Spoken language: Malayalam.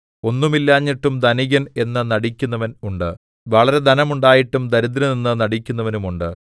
ഒന്നും ഇല്ലാഞ്ഞിട്ടും ധനികൻ എന്ന് നടിക്കുന്നവൻ ഉണ്ട് വളരെ ധനം ഉണ്ടായിട്ടും ദരിദ്രൻ എന്ന് നടിക്കുന്നവനും ഉണ്ട്